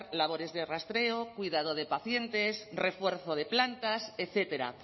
labores de rastreo cuidado de pacientes refuerzo de plantas etcétera